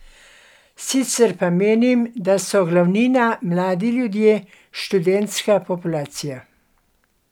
Sicer pa menim, da so glavnina mladi ljudje, študentska populacija.